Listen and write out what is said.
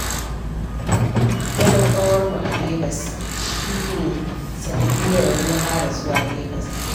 Zaman ƙawarmu a Legas shi ne sanadiyyarmu na fara zuwa Legas